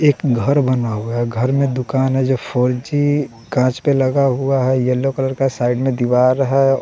एक घर बना हुआ है घर में दुकान है जो फोर जी कांच पे लगा हुआ है येलो कलर का साइड में दीवार है।